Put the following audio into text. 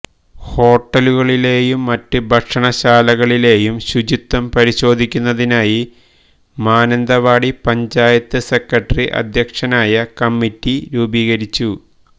ഹോട്ടലുളിലേയും മറ്റ് ഭക്ഷണശാലകളിലേയും ശുചിത്വം പരിശോധിക്കുന്നതിനായി മാനന്തവാടി പഞ്ചായത്ത് സെക്രട്ടറി അധ്യക്ഷനായ കമ്മിറ്റി രൂപീകരിച്ചു